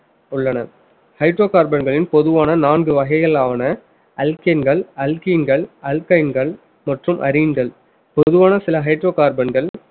உள்ளன hydrocarbon களின் பொதுவான நான்கு வகைகளான alkanes, alkenes, alkynes மற்றும் aromatic பொதுவான சில hydrocarbon கள்